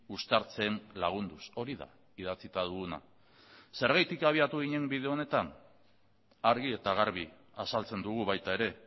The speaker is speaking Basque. uztartzen lagunduz hori da idatzita duguna zergatik habiatu ginen bide honetan argi eta garbi azaltzen dugu baita ere